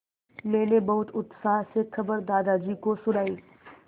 मैंने बहुत उत्साह से खबर दादाजी को सुनाई